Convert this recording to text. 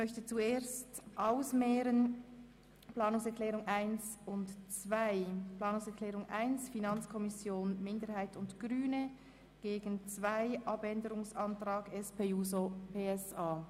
Zuerst stelle ich die Planungserklärung 1 der FiKo-Minderheit und der Grünen dem Antrag 2 der SP-JUSO-PSA gegenüber.